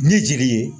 Ni jeli ye